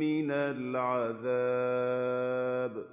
مِّنَ الْعَذَابِ